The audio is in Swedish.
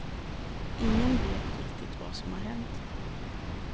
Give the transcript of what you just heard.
Ingen vet riktigt vad som har hänt.